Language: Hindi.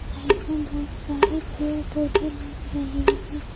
साइड में बहुत सारे पेड़ पौधे लग रहे हैं।